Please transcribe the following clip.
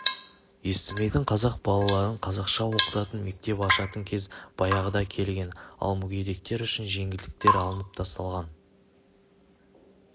естімейтін қазақ балаларын қазақша оқытатын мектеп ашатын кез баяғыда келген ал мүгедектер үшін жеңілдіктер алынып тасталған